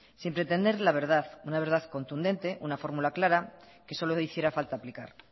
sin pretender la verdad una verdad contundente una fórmula clara que solo hiciera falta aplicar